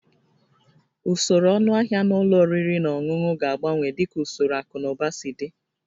Usoro ọnụahịa na ụlọ oriri na ọṅụṅụ ga-agbanwe dịka usoro akụ na ụba si dị